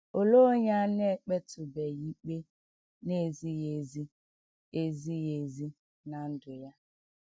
OLEE onye a na - ekpetụbeghị ikpe na - ezighị ezi - ezighị ezi ná ndụ ya?